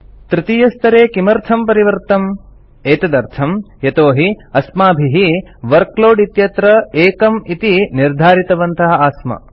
तृतीयस्तरे किमर्थं परिवृत्तम् एतदर्थं यतोहि अस्माभिः वर्कलोड इत्यत्र 1 इति निर्धारितवन्तः आस्म